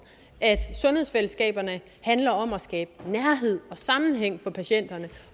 at sundhedsfællesskaberne handler om at skabe nærhed og sammenhæng for patienterne